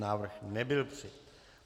Návrh nebyl přijat.